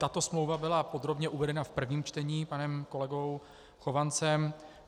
Tato smlouva byla podrobně uvedena v prvním čtení panem kolegou Chovancem.